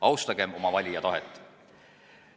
Austagem oma valija tahet!